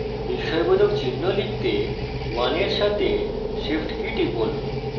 বিস্ময়বোধক চিহ্ন লিখতে 1 এর সাথে shift key টিপুন